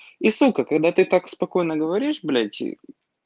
и сука когда ты так спокойно говоришь блять